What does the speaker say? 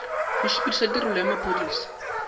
go sepediša tirelo ya maphodisa